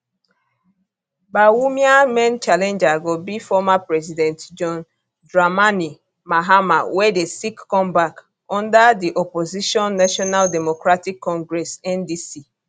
bawumia main challenger go be former president john dramani mahama wey dey seek comeback under di opposition national democratic congress ndc